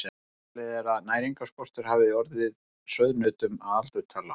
Talið er að næringarskortur hafi orðið sauðnautunum að aldurtila.